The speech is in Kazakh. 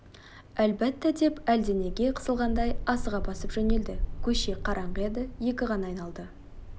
әлбәттә деп әлденеге қысылғандай асыға басып жөнелді көше қараңғы еді екі ғана айналды